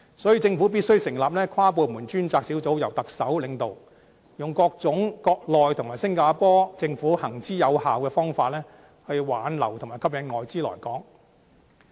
所以，政府必須成立跨部門專責小組，由特首領導，用各種國內和新加坡政府行之有效的方法，挽留和吸引外資來港。